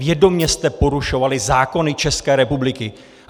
Vědomě jste porušovali zákony České republiky!